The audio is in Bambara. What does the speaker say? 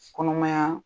Kɔnɔmaya